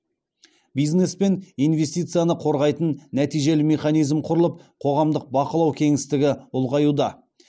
бизнес пен инвестицияны қорғайтын нәтижелі механизм құрылып қоғамдық бақылау кеңістігі ұлғаюда